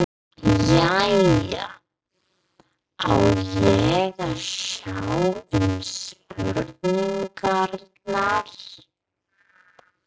Jæja, á ég að sjá um spurningarnar?